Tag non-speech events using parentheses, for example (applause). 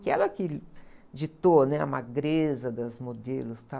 Que era que, (unintelligible) ditou, né? A magreza das modelos e tal.